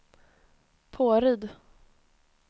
Påryd